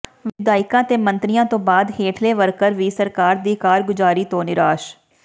ਵਿਧਾਇਕਾਂ ਤੇ ਮੰਤਰੀਆਂ ਤੋਂ ਬਾਅਦ ਹੇਠਲੇ ਵਰਕਰ ਵੀ ਸਰਕਾਰ ਦੀ ਕਾਰਗੁਜ਼ਾਰੀ ਤੋਂ ਨਿਰਾਸ਼